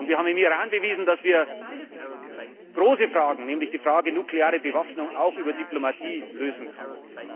Und wir haben im Iran bewiesen, dass wir große Fragen, nämlich die Frage der nuklearen Bewaffnung, auch über Diplomatie lösen